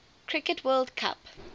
cricket world cup